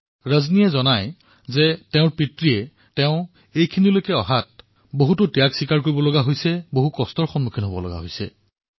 ৰজনীৰ পিতৃয়ে তেওঁক এই স্থানলৈ উন্নীত কৰাৰ বাবে বহু কষ্ট কৰিছিল বহু ত্যাগ কৰিছিল